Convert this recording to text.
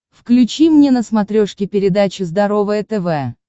включи мне на смотрешке передачу здоровое тв